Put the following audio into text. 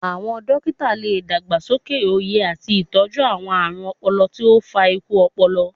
Awọn dokita le dagbasoke oye ati itọju awọn aarun ọpọlọ ti o fa iku ọpọlọpọ